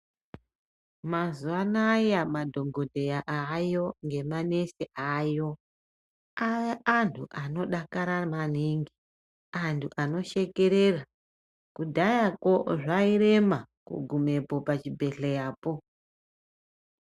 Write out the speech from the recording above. Mazuwa anaaya madhokodheya aayo ngemanesi aayo aantu anodakara maningi, antu anoshekerera. Kudhayako zvairema kugumepo pachibhedhlerapo.